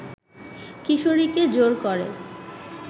কিশোরীকে জোর করে